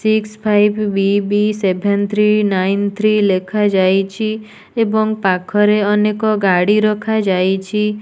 Six five B B seven three nine three ଲେଖାଯାଇଛି ଏବଂ ପାଖରେ ଅନେକ ଗୁଡ଼ିଏ ଗାଡ଼ି ରଖାଯାଇଛି।